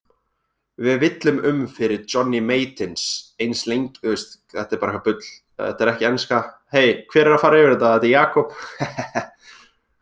Við villum um fyrir Johnny Mate ins lengi og við getum!